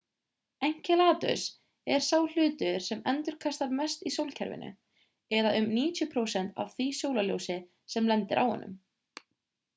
enceladus er sá hlutur sem endurkastar mest í sólkerfinu eða um 90 prósent af því sólarljósi sem lendir á honum